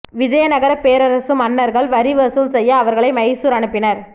விஜயநகர பேரரசு மன்னர்கள் வரி வசூல் செய்ய இவர்களை மைசூர் அனுப்பினர்